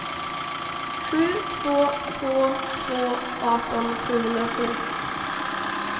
sju två två två arton sjuhundrasju